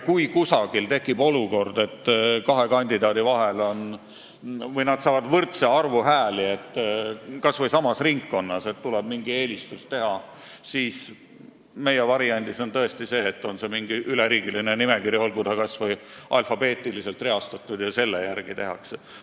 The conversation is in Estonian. Kui kuskil tekib olukord, et kaks kandidaati saab samas ringkonnas võrdse arvu hääli, nii et tuleb teha mingi eelistus, siis meie variandis on tõesti nii, et kui on mingi üleriigiline nimekiri, olgu kas või alfabeetiliselt reastatud, siis selle järgi tehakse.